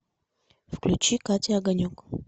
включи катя огонек